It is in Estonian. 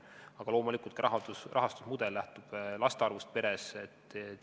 Aga loomulikult lähtub ka rahastusmudel laste arvust peres.